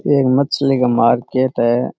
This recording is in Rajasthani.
ये मछली का मार्केट है।